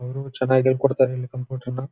ಅವರು ಚೆನ್ನಾಗಿ ಹೇಳ್ಕೊಡ್ತಾರೆ ಕಂಪ್ಯೂಟರ್ ನ.--